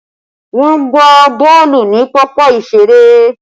Wọn gbá boolu ni pápá ìṣeré